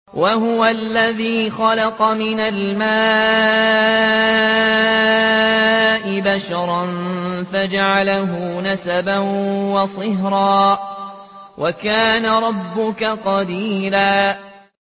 وَهُوَ الَّذِي خَلَقَ مِنَ الْمَاءِ بَشَرًا فَجَعَلَهُ نَسَبًا وَصِهْرًا ۗ وَكَانَ رَبُّكَ قَدِيرًا